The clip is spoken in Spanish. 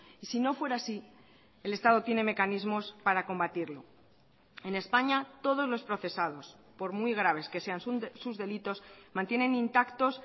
y si no fuera así el estado tiene mecanismos para combatirlo en españa todos los procesados por muy graves que sean sus delitos mantienen intactos